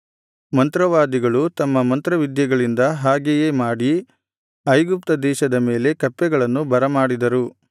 ಮಂತ್ರವಾದಿಗಳು ತಮ್ಮ ಮಂತ್ರವಿದ್ಯೆಗಳಿಂದ ಹಾಗೆಯೇ ಮಾಡಿ ಐಗುಪ್ತ ದೇಶದ ಮೇಲೆ ಕಪ್ಪೆಗಳನ್ನು ಬರಮಾಡಿದರು